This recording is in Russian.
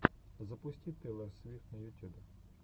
запусти тейлор свифт на ютюбе